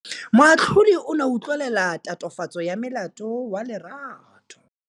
Moatlhodi o ne a utlwelela tatofatsô ya molato wa Lerato.